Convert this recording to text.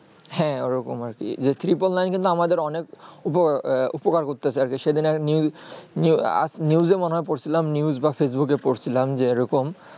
হ্যাঁ ঐ রকম আর কি যে triple nine কিন্তু আমাদের অনেক উপকার আহ উপকার করতেছে, সে দিনের news new news এ মনে হয়ে পর ছিলাম news বা facebook এ পর ছিলাম যে এইরকম